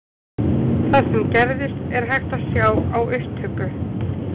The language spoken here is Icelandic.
Það sem gerðist er hægt að sjá á upptöku.